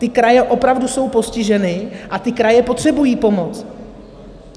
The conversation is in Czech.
Ty kraje opravdu jsou postiženy a ty kraje potřebují pomoc.